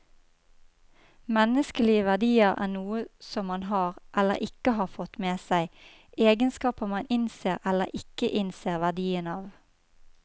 Menneskelige verdier er noe som man har, eller ikke har fått med seg, egenskaper man innser eller ikke innser verdien av.